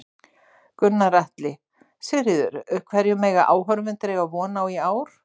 Gunnar Atli: Sigríður, hverju mega áhorfendur eiga von á í ár?